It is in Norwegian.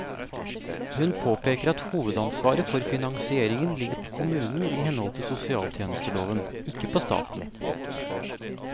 Hun påpeker at hovedansvaret for finansieringen ligger på kommunen i henhold til sosialtjenesteloven, ikke på staten.